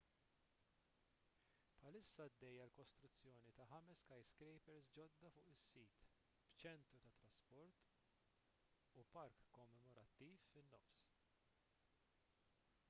bħalissa għaddejja l-kostruzzjoni ta' ħames skyscrapers ġodda fuq is-sit b'ċentru tat-trasport u park kommemorattiv fin-nofs